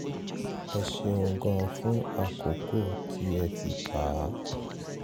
ẹ ṣeun gan-an fún àkókò tẹ́ ẹ fi kà á